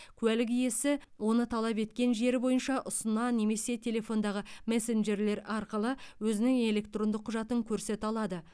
куәлік иесі оны талап еткен жері бойынша ұсына немесе телефондағы мессенджерлер арқылы өзінің электрондық құжатын көрсете алады